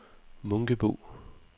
Munkebo